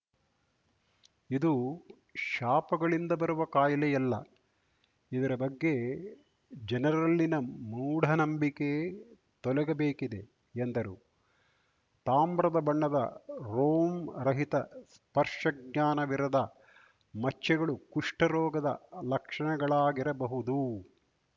ಇದು ಶಾಪಗಳಿಂದ ಬರುವ ಕಾಯಿಲೆಯಲ್ಲ ಇದರ ಬಗ್ಗೆ ಜನರಲ್ಲಿನ ಮೂಢನಂಬಿಕೆ ತೊಲಗಬೇಕಿದೆ ಎಂದರು ತಾಮ್ರದ ಬಣ್ಣದ ರೋಮ್ ರಹಿತ ಸ್ಪರ್ಶ ಜ್ಞಾನವಿರದ ಮಚ್ಚೆಗಳು ಕುಷ್ಠ ರೋಗದ ಲಕ್ಷಣಗಳಾಗಿರಬಹುದು